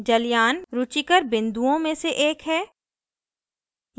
जलयान रुचिकर बिन्दुओं में से एक है